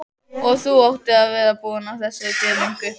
Og þú áttir að vera búinn að þessu fyrir löngu!